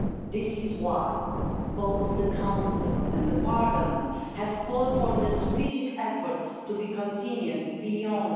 That is why both the Council and the Parliament have called for the strategic efforts to be continued beyond